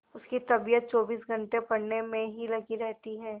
उसकी तबीयत चौबीस घंटे पढ़ने में ही लगी रहती है